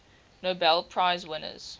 nobel prize winners